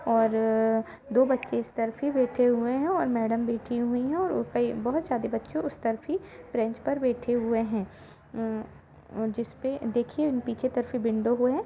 और दो बच्चे इस तरफ ही बैठे हुए है और मैडम बैठी हुईं हैऔर बहुत सारे बच्चे उस तरफ ही बेंच पर बैठे हुए है ए जिसपे देखिए पीछे तरफ़ विंडो भी है।